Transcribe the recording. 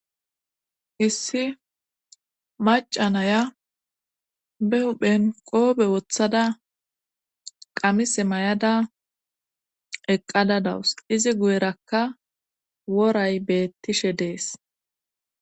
issi macanaya be huphen qoobe wothada qamise may7ada eqqada dawus izi guyerakka woray beettishe dees